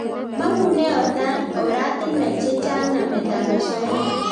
Mangune oratinwek che chang namet ab asoya